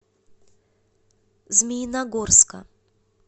змеиногорска